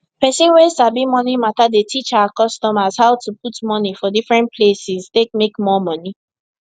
person wey sabi moni matter dey teach her customers how to put money for different places take make more money